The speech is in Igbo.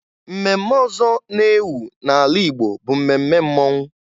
Mmemme ọzọ na-ewụ na-ala igbo bụ mmemme mmọnwụ.